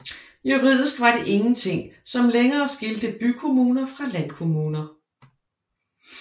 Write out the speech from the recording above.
Juridisk var det ingenting som lenger skilte bykommuner fra landkommuner